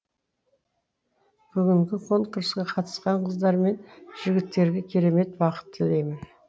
бүгінгі конкурске қатысқан қыздар мен жігіттерге керемет бақыт тілеймін